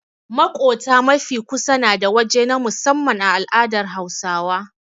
Maƙota mafi kusa nada waje na musamman a al'adar Hausawa.